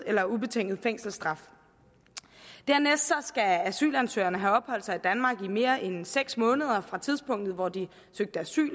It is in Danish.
eller ubetinget fængselsstraf dernæst skal asylansøgerne have opholdt sig i danmark i mere end seks måneder fra tidspunktet hvor de søgte asyl